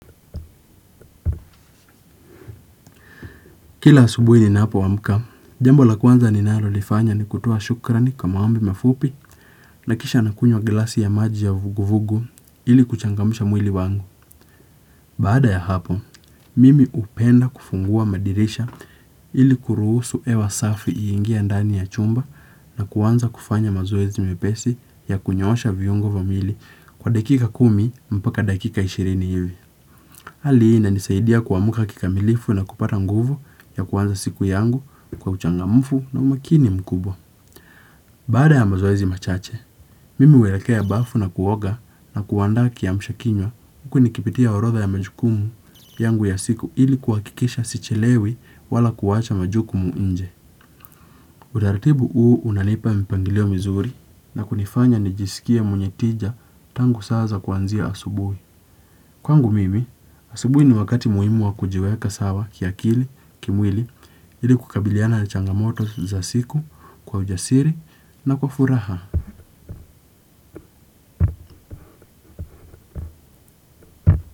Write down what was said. Kila asubuhi ninapoamka, jambo la kwanza ninalolifanya ni kutoa shukrani kwa mambo mafupi na kisha nakunywa glasi ya maji ya vuguvugu ili kuchangamsha mwili wangu. Baada ya hapo, mimi hupenda kufungua madirisha ili kuruhusu hewa safi iingie ndani ya chumba na kuanza kufanya mazoezi mepesi ya kunyoosha viungo kwa dakika kumi mpaka dakika ishirini hivi. Hali hii inanisaidia kuamka kikamilifu na kupata nguvu ya kuanza siku yangu kwa uchangamfu na umakini mkubwa. Baada ya mazoezi machache, mimi huelekea bafu na kuoga na kuandaa kiamshakinywa huku nikipitia orodha ya majukumu yangu ya siku ili kuhakikisha sichelewi wala kuwacha majukumu nje. Utaratibu huu unanipa mipangilio mizuri na kunifanya nijisikie mwenye tija tangu saa za kuanzia asubui. Kwangu mimi, asubuhi ni wakati muhimu wa kujiweka sawa kiakili, kimwili, ili kukabiliana na changamoto za siku kwa ujasiri na kwa furaha.